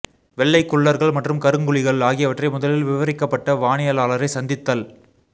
வெள்ளைக் குள்ளர்கள் மற்றும் கருங்குழிகள் ஆகியவற்றை முதலில் விவரிக்கப்பட்ட வானியலாளரை சந்தித்தல்